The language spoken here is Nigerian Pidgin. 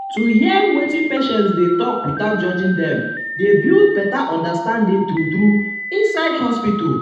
to hear um wetin patients dey talk without judging dem dey build better understanding true true inside hospital.